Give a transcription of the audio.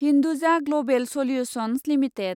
Hinduja global solutions limited